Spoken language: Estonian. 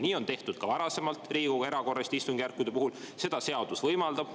Nii on tehtud ka varasemalt Riigikogu erakorraliste istungjärkude puhul, seda seadus võimaldab.